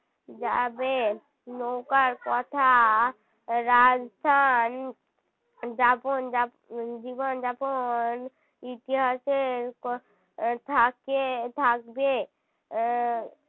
যাবে নৌকার কথা রাজস্থান যাপন~ যাপ~ জীবনযাবন ইতিহাসের উম থাকে থাকবে আহ